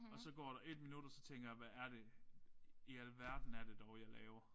Og så går der 1 minut og så tænker jeg hvad er det i alverden er det dog jeg laver